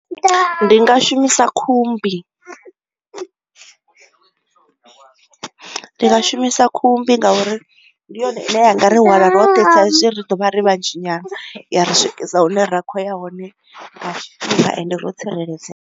Ndi nga shumisa khumbi ndi nga shumisa khumbi ngauri ndi yone ine yanga ri hwala roṱhe saizwi ri ḓo vha ri vha dzhia nyana ya ri swikisa hune ra kho ya hone nga tshifhinga ende ro tsireledzea.